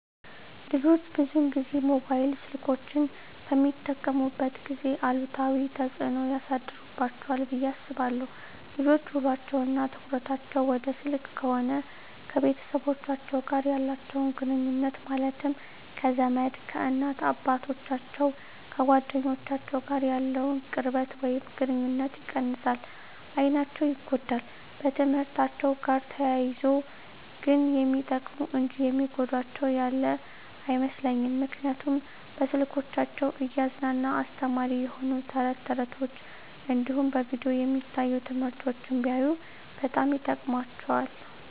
ልጆች ብዙን ጊዜ ሞባይል ስልኮችን በሚጠቀሙበት ጊዜ አሉታዊ ተፅዕኖ ያሳድርባቸዋል ብየ አስባለሁ። ልጆች ውሎቸው እና ትኩረታቸውን ወደ ስልክ ከሆነ ከቤተሰቦቻቸው ጋር ያላቸውን ግኑኙነት ማለትም ከዘመድ፣ ከእናት አባቶቻቸው፣ ከጓደኞቻቸው ጋር ያለውን ቅርበት ወይም ግኑኝነት ይቀንሳል፣ አይናቸው ይጎዳል፣ በትምህርትአቸው ጋር ተያይዞ ግን የሚጠቅሙ እንጂ የሚጎዳቸው ያለ አይመስለኝም ምክንያቱም በስልኮቻቸው እያዝናና አስተማሪ የሆኑ ተረት ተረቶች እንዲሁም በቪዲዮ የሚታዩ ትምህርቶችን ቢያዩ በጣም ይጠቅማቸዋል።